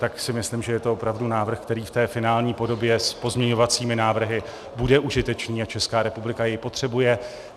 Tak si myslím, že je to opravdu návrh, který v té finální podobě s pozměňovacími návrhy bude užitečný a Česká republika jej potřebuje.